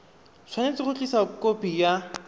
tshwanetse go tlisa khopi ya